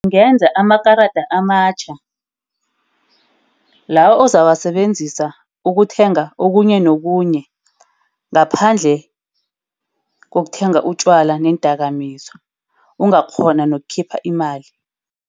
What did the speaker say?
Ngenze amakarada amatjha lawa ozawasebenzisa ukuthenga okunye nobunye ngaphandle kokuthenga utjwala neendakamizwa. Ungakghona nokukhipha imali.